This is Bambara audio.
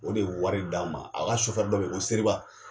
O de ye wari d'an ma a ka sofɛri dɔ be ye ko seriba